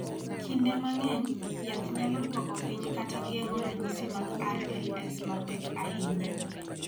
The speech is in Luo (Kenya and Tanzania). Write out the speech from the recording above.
Kinde mang�eny, yath nyalo dwoko piny kata geng�o ranyisi mag RLS mapek ahinya.